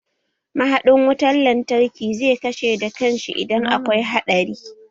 Mahadin wutan lantarki zai kashe da kan shi idan akwai haɗari